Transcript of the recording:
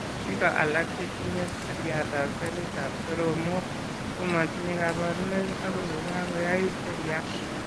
Biko alak che tinye seriatab selitab soromok ko matinye kabarunoik akoi ko kakoyait seriat.